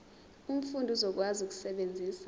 umfundi uzokwazi ukusebenzisa